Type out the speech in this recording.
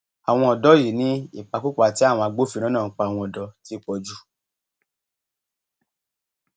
àwọn ọdọ yìí ni ìpakúpa tí àwọn agbófinró náà ń pa àwọn ọdọ ti pọ jù